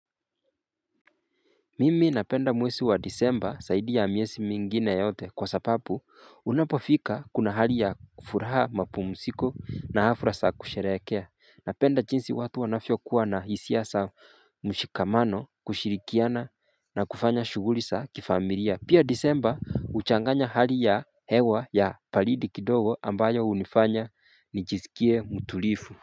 Mimi napenda mwesi wa disemba saidi ya mwesi mingine yote kwa sapapu unapofika kuna hali ya kufuraha mapumusiko na hafura saa kusherekea Napenda chinsi watu wanavyo kuwa na hisia saa mshikamano kushirikiana na kufanya shuguri sa kifamilia Pia disemba uchanganya hali ya hewa ya palidi kidogo ambayo unifanya nijizikie muturifu.